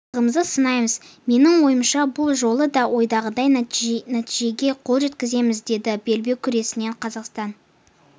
бағымызды сынаймыз менің ойымша бұл жолы да ойдағыдай нәтижеге қол жеткіземіз деді белбеу күресінен қазақстан